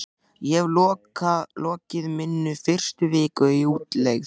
Ég hef lokið minni fyrstu viku í útlegð.